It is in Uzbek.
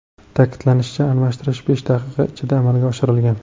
Ta’kidlanishicha, almashtirish besh daqiqa ichida amalga oshirilgan.